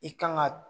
I kan ga